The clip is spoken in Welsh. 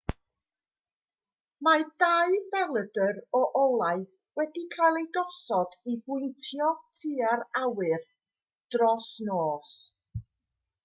mae dau belydr o olau wedi cael eu gosod i bwyntio tua'r awyr dros nos